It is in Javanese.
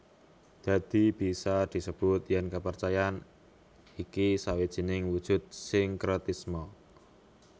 Dadi bisa disebut yèn kapercayan iki sawijining wujud sinkretisme